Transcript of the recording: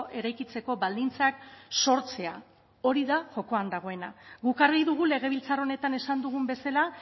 eraikitzeko baldintzak sortzea hori da jokoan dagoena guk argi dugu legebiltzar honetan esan dugun bezala